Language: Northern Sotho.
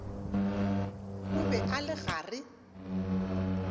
o be a le gare